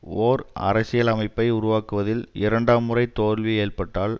ஓர் அரசியலமைப்பை உருவாக்குவதில் இரண்டாம் முறை தோல்வி ஏற்பட்டால்